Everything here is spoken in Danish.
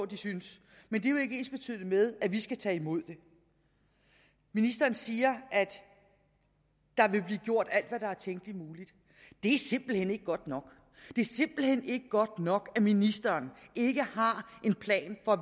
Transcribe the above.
de syntes men det er jo ikke ensbetydende med at vi skal tage imod det ministeren siger at der vil blive gjort alt hvad der er tænkeligt muligt det er simpelt hen ikke godt nok det er simpelt hen ikke godt nok at ministeren ikke har en plan for